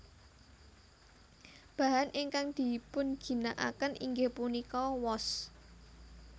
Bahan ingkang dipunginakaken inggih punika wos